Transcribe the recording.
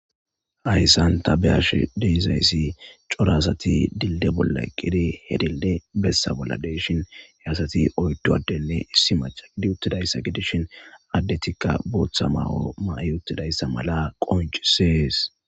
ayssan tabeyash deizayssi corasati dilde bolla eqqire hedille bessa bolla deshin heyasati oyddoaddenne issi macha gidi uttidayssa gedishin addetikka booththa mawo ma7i uttidayssa mala qoncisees